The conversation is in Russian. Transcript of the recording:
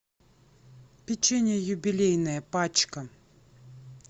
печенье юбилейное пачка